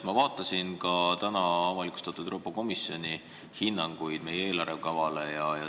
Ma vaatasin ka täna avalikustatud Euroopa Komisjoni hinnanguid meie eelarve kavale.